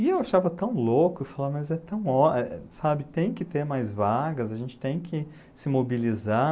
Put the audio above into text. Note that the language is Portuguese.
E eu achava tão louco, e falava, mas é tão ó, eh sabe? Tem que ter mais vagas, a gente tem que se mobilizar.